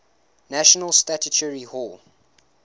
national statuary hall